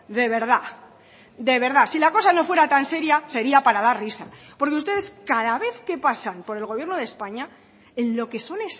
de verdad de verdad si la cosa no fuera tan seria sería para dar risa porque ustedes cada vez que pasan por el gobierno de españa en lo que son